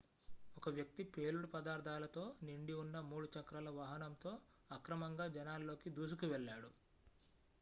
ఒక వ్యక్తి పేలుడు పదార్ధాలతో నిండి ఉన్న 3 చక్రాల వాహనంతో అక్రమంగా జనాల్లోకి దూసుకు వెళ్ళాడు